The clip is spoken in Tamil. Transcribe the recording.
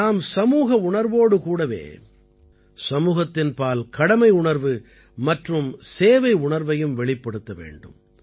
நாம் சமூக உணர்வோடு கூடவே சமூகத்தின் பால் கடமை உணர்வு மற்றும் சேவை உணர்வையும் வெளிப்படுத்த வேண்டும்